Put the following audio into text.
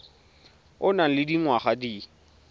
o nang le dingwaga di